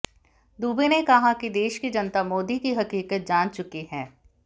दुबे ने कहा कि देश की जनता मोदी की हकीकत जान चुकी है